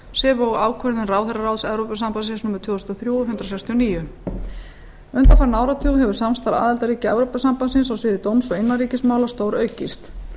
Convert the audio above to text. sem og ákvörðun ráðherraráðs evrópusambandsins númer tvö þúsund og þrjú hundrað sextíu og níu undanfarinn áratug hefur samstarf aðildarríkja evrópusambandsins á sviði dóms og innanríkismála stóraukist